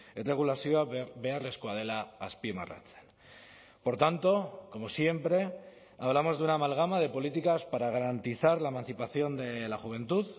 erregulazioa beharrezkoa dela azpimarratzen por tanto como siempre hablamos de una amalgama de políticas para garantizar la emancipación de la juventud